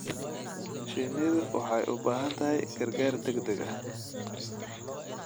Shinnidu waxay u baahan tahay gargaar degdeg ah.